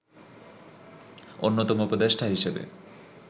অন্যতম উপদেষ্টা হিসেবে